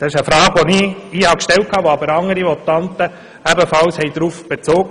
Diese Frage habe ich hier gestellt, aber andere Votanten haben ebenfalls darauf Bezug genommen.